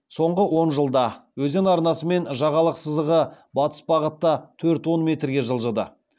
соңғы он жылда өзен арнасы мен жағалық сызығы батыс бағытта төрт он метрге жылжыды